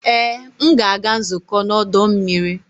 Ee! M ga-aga nzukọ n'ọdọ mmiri.